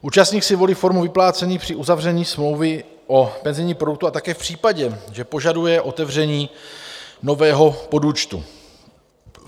Účastník si volí formu vyplácení při uzavření smlouvy o penzijním produktu a také v případě, že požaduje otevření nového podúčtu.